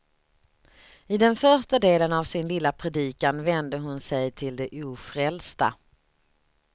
I den första delen av sin lilla predikan vände hon sig till de ofrälsta.